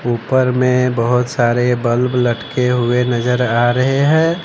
ऊपर में बहोत सारे बल्ब लटके हुवे नजर आ रहे हैं।